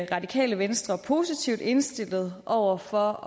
radikale venstre positivt indstillet over for